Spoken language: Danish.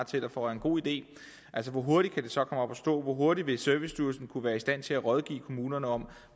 taler for er en god idé hvor hurtigt kan det så komme op at stå hvor hurtigt vil servicestyrelsen være i stand til at rådgive kommunerne om